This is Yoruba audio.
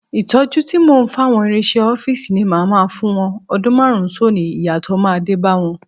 Ìtọ́jú tí mò ń fáwọn ìrinṣẹ ọ́fíìsì ni màá máa fún wọn, ọdún márùn-ún sónìí, ìyàtọ̀ máa dé bá wọn.